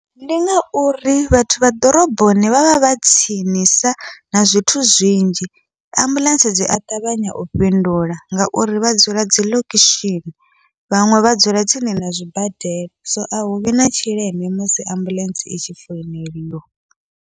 Ndi ngauri vhathu vha ḓoroboni vhavha vha tsinisa na zwithu zwinzhi, ambuḽentse dzia ṱavhanya u fhindula ngauri vha dzula dziḽokushini, vhaṅwe vha dzula tsini na zwibadela so a huvhi na tshileme musi ambuḽentse i tshi founeliwa.